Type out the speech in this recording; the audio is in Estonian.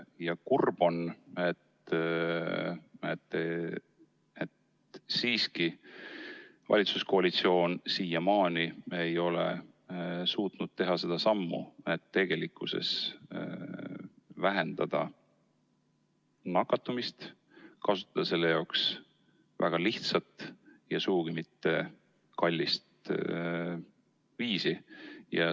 Ja kurb on, et siiski valitsuskoalitsioon siiamaani ei ole suutnud astuda seda sammu, et tegelikult vähendada nakatumist, kasutades selleks väga lihtsat ja sugugi mitte kallist viisi.